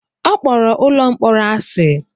Ọ kpọrọ ụlọ mkpọrọ asị.